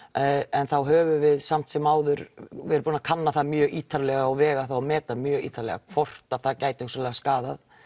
en þá höfum við samt sem áður verið búin að kanna það mjög ítarlega og vega það og meta mjög ítarlega hvort að það gæti hugsanlega skaðað